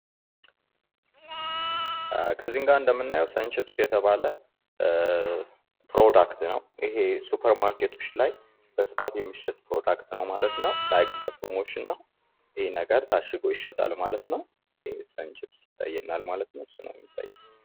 በምስሉ ላይ እንደምናየው ሰን ችፕስ የተባለ ምርት ሲሆን ሱፐርማርኬት ላይ በብዛት ይሸጣል ማለት ነው። እንደ ፕሮሞሽን ሲሆን ታሽጎ ይሸጣል ማለት ነው።